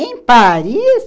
Em Paris?